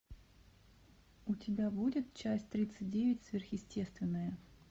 у тебя будет часть тридцать девять сверхъестественное